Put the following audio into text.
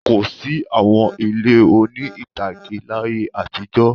Kò sí àwọn ilé oní-ìtàgé láyé àtijọ́.